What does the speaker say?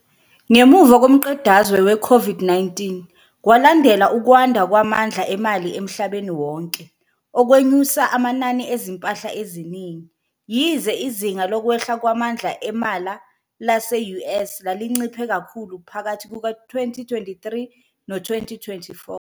Ngemuva komqedazwe we-COVID-19, kwalandela ukwanda kwamandla emali emhlabeni wonke okwenyusa amanani ezimpahla eziningi, yize izinga lokwehla kwamandla emala lase-US lalinciphe kakhulu phakathi kuka-2023 no-2024.